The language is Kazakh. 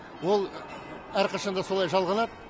ол әрқашан да солай жалғанады